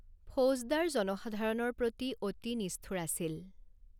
ফৌজদাৰ জনসাধাৰণৰ প্ৰতি অতি নিষ্ঠুৰ আছিল।